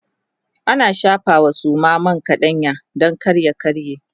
ana shafawa Suma man kaɗanya Dan kar ya karye